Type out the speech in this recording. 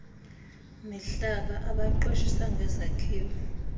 mihlaba abaqeshisa ngezakhiwo